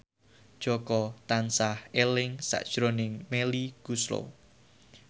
Jaka tansah eling sakjroning Melly Goeslaw